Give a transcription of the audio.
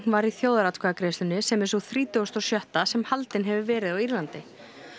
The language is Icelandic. var í þjóðaratkvæðagreiðslunni sem er sú þrítugasta og sjötta sem haldin hefur verið á Írlandi